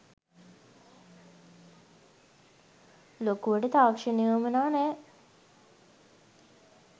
ලොකුවට තාක්ෂණය වුවමනා නෑ.